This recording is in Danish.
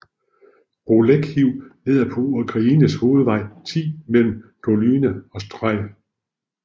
Bolekhiv ligger på Ukraines hovedvej 10 mellem Dolyna og Stryj